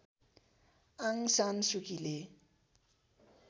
Aung San सुकीले